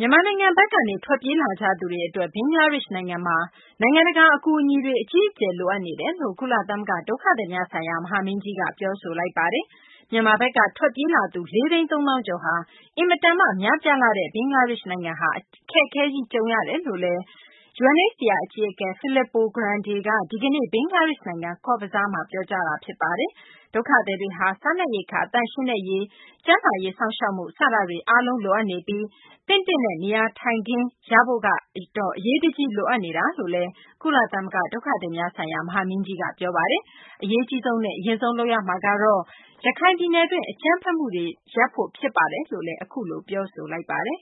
မြန်မာနိုင်ငံဘက်ကနေ ထွက်ပြေးလာကြသူတွေ အတွက် ဘင်္ဂလားဒေရှ့်နိုင်ငံမှာ နိုင်ငံတကာ အကူအညီတွေ အကြီးအကျယ် လိုအပ်နေတယ်လို့ ကုလသမဂ္ဂ ဒုက္ခသည်များဆိုင်ရာ မဟာမင်းကြီးက ပြောဆိုလိုက်ပါတယ်။ မြန်မာဘက်က ထွက်ပြေးလာသူ ၄ သိန်း ၃ သောင်းကျော်ဟာ အင်မတန်မှ များပြားလှပြီး ဘင်္ဂလားဒေရှ့် နိုင်ငံဟာ အခက်အခဲကြီး ကြုံနေရတယ်လို့ UNHCR အကြီးအကဲ Filippo Grandi က ဒီကနေ့ ဘင်္ဂလားဒေရှ့် နိုင်ငံ ကော့ဇ်ဘဇားမှာ ပြောကြားတာ ဖြစ်ပါတယ်။ ဒုက္ခသည်တွေဟာ စားနပ်ရိက္ခာ၊ သန့်ရှင်းတဲ့ရေ၊ ကျန်းမာရေး စောင့်ရှောက်မှုစတာတွေ အားလုံး လိုအပ်နေပြီး သင့်တင့်တဲ့ နေရာထိုင်ခင်း ရဖို့တော့ အရေးတကြီးလိုအပ်နေတယ်လို့ ကုလသမ္မဂ္ဂ ဒုက္ခသည်များဆိုင်ရာ မဟာမင်းကြီးက ပြောဆိုပါတယ်။ အရေးအကြီးဆုံးနဲ့ အရင်ဆုံး လုပ်ရမှာကတော့ ရခိုင်ပြည်နယ်တွင်း အကြမ်းဖက်မှုတွေ ရပ်ဖို့ ဖြစ်ပါတယ်လို့လည်း UNHCR အကြီးအကဲက ပြောဆိုပါတယ်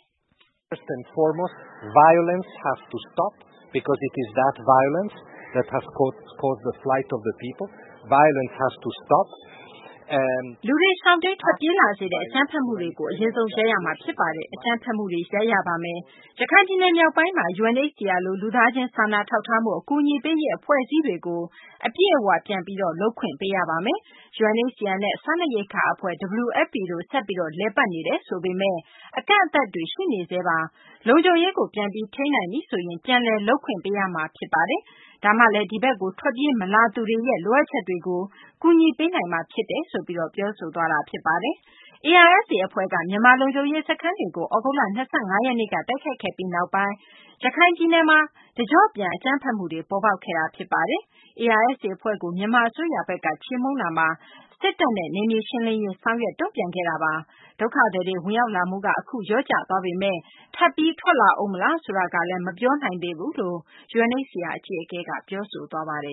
။ "လူတွေ ရှောင်တိမ်းထွက်ပြေးလာစေတဲ့ အကြမ်းဖက်မှုတွေကို အရင်ဆုံး ရပ်ရမှာ ဖြစ်ပါတယ်။ အကြမ်းဖက်မှုတွေ ရပ်ရပါမယ်။ ရခိုင်ပြည်နယ် မြောက်ပိုင်းမှာ UNHCR လို လူသားချင်း စာနာထောက်ထားမှု အကူအညီပေးရေး အဖွဲ့အစည်းတွေကို အပြည့်အ၀ ပြန်ပြီး လုပ်ခွင့်ပေးရပါမယ်။ UNHCR နဲ့ စားနပ်ရိက္ခာ အဖွဲ့ WFP တို့ ဆက်ပြီး လည်ပတ်နေတယ်ဆိုပေမယ့် အကန့်အသတ်တွေ ရှိနေဆဲပါ။ လုံခြုံရေးကို ပြန်ပြီး ထိန်းနိုင်ပြီဆိုရင် ပြန်လည် လုပ်ပိုင်ခွင့်ပေးရမှာ ဖြစ်ပါတယ်။ ဒါမှလည်း ဒီဘက်ကို ထွက်ပြေးမလာသူတွေရဲ့ လိုအပ်ချ်ကတွေကိုလည်း ကူညီပေးနိုင်မှာ ဖြစ်ပါတယ်။" ARSA အဖွဲ့က မြန်မာ လုံခြုံရေး စခန်းတွေကို သြဂုတ်လ ၂၅ ရက်နေ့က တိုက်ခိုက်ခဲ့ပြီးနောက်ပိုင်း ရခိုင်ပြည်နယ်မှာ အခုတကျော့ပြန် အကြမ်းဖက်မှုတွေ ပေါ်ပေါက်လာခဲ့တာပါ။ ARSA အဖွဲ့ကို မြန်မာအစိုးရဘက်က ချေမှုန်းတာမှာ စစ်တပ်နဲ့ နယ်မြေရှင်းလင်းရေး ဆောင်ရွက်တုံ့ပြန်ခဲ့တာပါ။ ဒုက္ခသည်တွေ ဝင်ရောက်လာမှုက လျော့ကျသွားပေမယ့် ထပ်ပြီး ထွက်လာဦးမလား ဆိုတာကလည်း မပြောနိုင်သေးဘူးလို့လည်း UNHCR အကြီးအကဲက ပြောဆိုခဲ့ပါတယ်